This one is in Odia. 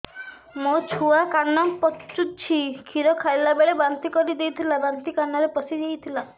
ମୋ ଛୁଆ କାନ ପଚୁଛି କ୍ଷୀର ଖାଇଲାବେଳେ ବାନ୍ତି କରି ଦେଇଥିଲା ବାନ୍ତି କାନରେ ପଶିଯାଇ ଥିଲା